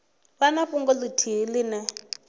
vha na fhungo ithihi ine